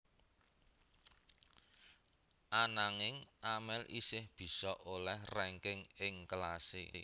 Ananging Amel isih bisa olèh rangking ing kelasé